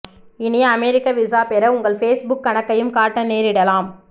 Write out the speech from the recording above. இனி அமெரிக்க விசா பெற உங்கள் ஃபேஸ்புக் கணக்கையும் காட்ட நேரிடலாம்